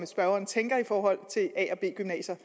spørgeren tænker i forhold til a og b gymnasier